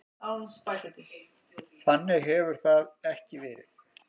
Þannig hefur það ekki verið.